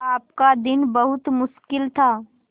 आपका दिन बहुत मुश्किल था